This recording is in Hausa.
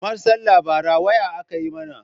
Karmar sallar bara waya aka yi mana.